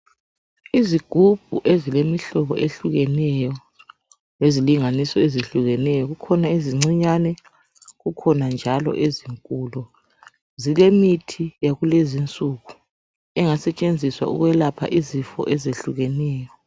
Izigubhu ezilemihlobo ehlukeneyo lezilinganiso ezehlukeneyo, kukhona ezincinyane kukhona njalo ezinkulu. Zilemithi yakulezinsuku engasetshenziswa ukwelapha izifo ezehlukeneyo.